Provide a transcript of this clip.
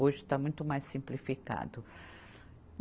Hoje está muito mais simplificado.